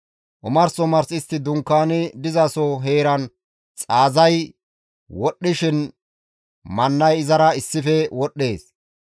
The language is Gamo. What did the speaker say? Omars omars istti dunkaani dizaso heeran xaazay wodhdhishin mannay izara issife wodhdhees.